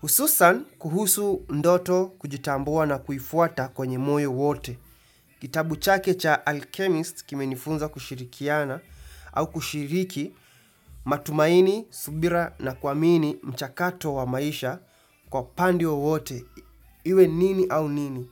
Hususan kuhusu ndoto kujitambua na kuifuata kwenye moyo wote. Kitabu chake cha alchemist kime nifunza kushirikiana au kushiriki matumaini, subira na kwamini mchakato wa maisha Kwa pande wowote Iwe nini au nini.